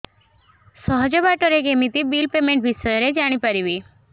ସହଜ ବାଟ ରେ କେମିତି ବିଲ୍ ପେମେଣ୍ଟ ବିଷୟ ରେ ଜାଣି ପାରିବି